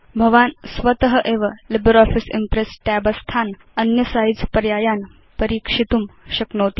भवान् स्वत एव लिब्रे आफिस इम्प्रेस् tab स्थान् अन्य size पर्यायान् परीक्षितुं शक्नोति